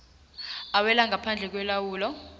awela ngaphandle kwelawulo